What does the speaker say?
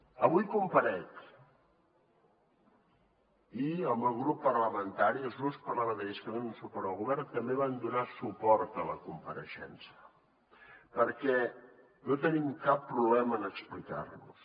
avui comparec i el meu grup parlamentari i els grups parlamentaris que donen suport al govern també van donar suport a la compareixença perquè no tenim cap problema en explicar nos